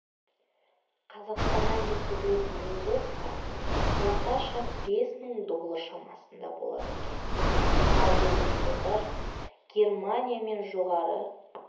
қазақстаннан жеткізілетін экзотика орташа бес мың доллар шамасында болады екен ал біздің қыздар германия мен жоғары